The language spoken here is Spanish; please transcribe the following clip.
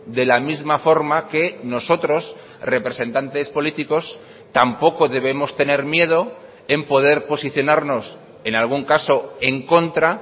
de la misma forma que nosotros representantes políticos tampoco debemos tener miedo en poder posicionarnos en algún caso en contra